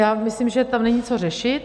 Já myslím, že tam není co řešit.